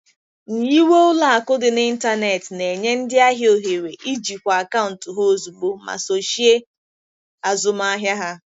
Nyiwe ụlọ akụ dị n'ịntanetị na-enye ndị ahịa ohere ijikwa akaụntụ ha ozugbo ma sochie azụmahịa ha.